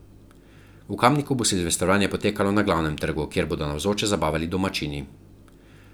V Kamniku bo silvestrovanje potekalo na Glavnem trgu, kjer bodo navzoče zabavali Domačini.